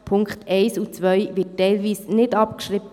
Die Punkte 1 und 2 werden teilweise nicht abgeschrieben.